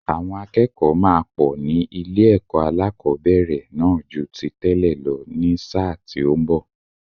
Àwọn akẹ́kọ̀ọ́ máa pọ̀ ní ilé-ẹ̀kọ́ alẹ́kọ̀ọ́bẹ̀rẹ̀ náà ju ti tẹ́lẹ̀ lọ ní sáà tí ó ń bọ̀.